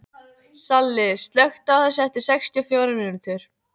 Salli, slökktu á þessu eftir sextíu og fjórar mínútur.